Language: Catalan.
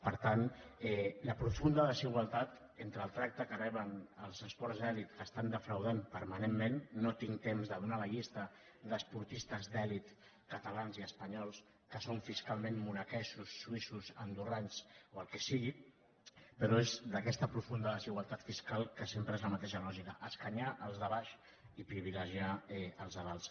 per tant la profunda desigualtat entre el tracte que reben els esports d’elit que defrauden permanentment no tinc temps de donar la llista d’esportistes d’elit catalans i espanyols que són fiscalment monegascos suïssos andorrans o el que sigui però és d’aquesta profunda desigualtat fiscal que sempre és la mateixa lògica escanyar els de baix i privilegiar els de dalt